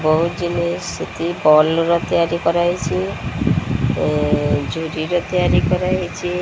ବହୁତ୍ ଜିନିଷ୍ ସେତି ବଲ୍ ରେ ତିଆରି କରାଯାଇଚି। ଏ ଜୁରିର ତିଆରି କରାହେଇଚି।